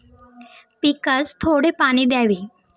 पिकास थोडे पाणी द्यावे.